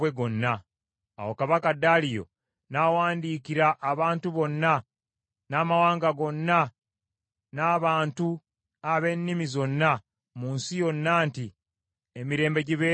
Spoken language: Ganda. Awo kabaka Daliyo n’awandiikira abantu bonna, n’amawanga gonna n’abantu ab’ennimi zonna mu nsi yonna nti, “Emirembe gibeere gye muli!